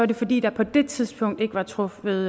det fordi der på det tidspunkt ikke var truffet